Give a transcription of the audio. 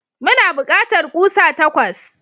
Muna bukatar kusa takwas.